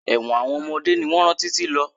Ẹ̀wọ̀n àwọn ọmọdé ni wọn rán títí lọ.